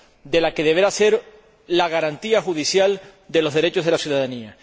de la que deberá ser la garantía judicial de los derechos de la ciudadanía.